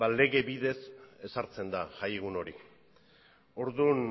lege bidez ezartzen da jaiegun hori orduan